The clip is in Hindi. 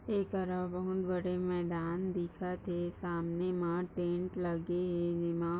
बहुत बड़े मैदान दिखत है सामने वहाँ टेंट लगे है विमा--